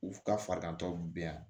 U ka farigantɔw bɛ yan